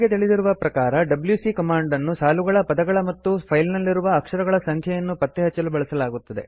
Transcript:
ನಮಗೆ ತಿಳಿದಿರುವ ಪ್ರಕಾರ ಡಬ್ಯೂಸಿ ಕಮಾಂಡ್ ಅನ್ನು ಸಾಲುಗಳ ಪದಗಳ ಮತ್ತು ಫೈಲ್ ನಲ್ಲಿರುವ ಅಕ್ಷರಗಳ ಸಂಖ್ಯೆಯನ್ನು ಪತ್ತೆ ಹಚ್ಚಲು ಬಳಸಲಾಗುತ್ತದೆ